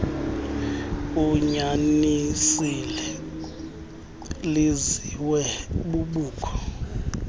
unyanisile liziswe bubukho